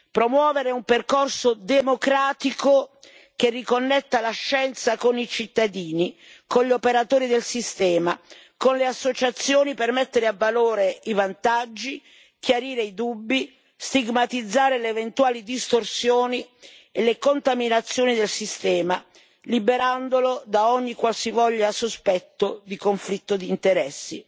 promuovere un percorso democratico che riconnetta la scienza con i cittadini, con gli operatori del sistema, con le associazioni per mettere a valore i vantaggi, chiarire i dubbi, stigmatizzare le eventuali distorsioni e le contaminazioni del sistema, liberandolo da ogni qualsivoglia sospetto di conflitto d'interessi.